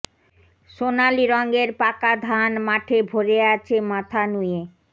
সোনালি রঙের পাকা ধান মাঠে ভরে আছে মাথা নুয়ে